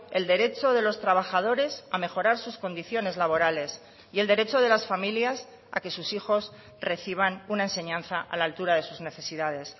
el derecho de los trabajadores a mejorar sus condiciones laborales y el derecho de las familias a que sus hijos reciban una enseñanza a la altura de sus necesidades